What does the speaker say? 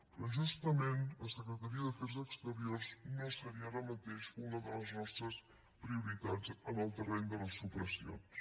però justament la secretaria d’afers exteriors no seria ara mateix una de les nostres prioritats en el terreny de les supressions